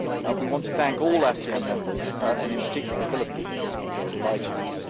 We want to thank all ASEAN members, and in particular the Philippines, for inviting us.